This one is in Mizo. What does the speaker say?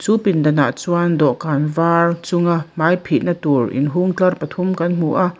pindanah chuan dawhkan var chunga hmai phihna tur inhung tlar pathum kan hmu a--